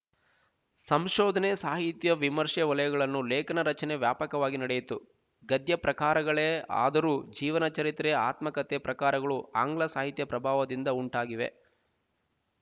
ಸಂಶೋಧನೆ ಸಾಹಿತ್ಯ ವಿಮರ್ಷೆ ವಲಯಗಳನ್ನು ಲೇಖನ ರಚನೆ ವ್ಯಾಪಕವಾಗಿ ನಡೆಯಿತು ಗದ್ಯ ಪ್ರಕಾರಗಳೇ ಆದರೂ ಜೀವನಚರಿತ್ರೆ ಆತ್ಮಕತೆ ಪ್ರಕಾರಗಳು ಆಂಗ್ಲ ಸಾಹಿತ್ಯ ಪ್ರಭಾವದಿಂದ ಉಂಟಾಗಿವೆ